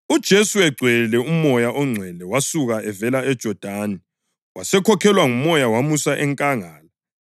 UJesu egcwele uMoya oNgcwele wasuka evela eJodani wasekhokhelwa nguMoya wamusa enkangala,